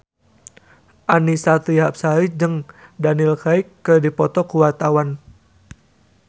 Annisa Trihapsari jeung Daniel Craig keur dipoto ku wartawan